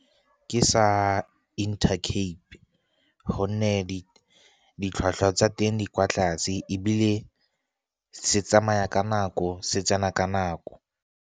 Ke sa Intercape gonne ditlhwatlhwa tsa teng di kwa tlase, ebile se tsamaya ka nako, se tsena ka nako.